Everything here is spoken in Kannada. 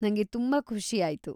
ನಂಗೆ ತುಂಬಾ ಖುಷಿ ಆಯ್ತು.